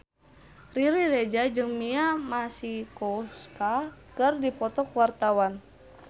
Riri Reza jeung Mia Masikowska keur dipoto ku wartawan